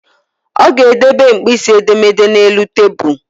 Ọ ga-edebe mkpịsị edemede a n'elu tabuulu